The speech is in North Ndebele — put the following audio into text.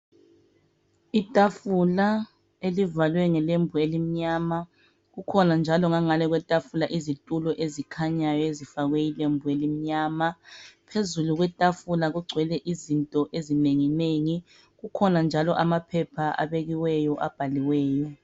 Itafula elivalwe ngelembu elimnyama kukhona njalo ngangale kwetafula izitulo ezikhanyayo ezifakwe ilembu elimnyama phezulu kwetafula kugcwele izinto ezinenginengi kukhona njalo amaphepha abekiweyo abhaliweyo.